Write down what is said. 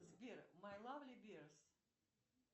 сбер май лавли беарс